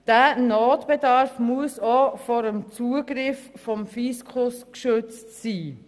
Dieser Notbedarf muss auch vor dem Zugriff durch den Fiskus gesichert werden.